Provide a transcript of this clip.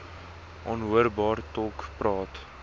onhoorbaar tolk praat